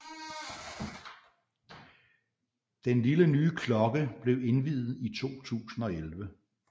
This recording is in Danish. Den lille nye klokke blev indviet i 2011